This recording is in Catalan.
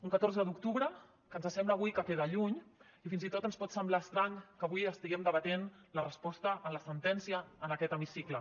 un catorze d’octubre que ens sembla avui que queda lluny i fins i tot ens pot semblar estrany que avui estiguem debatent la resposta a la sentència en aquest hemicicle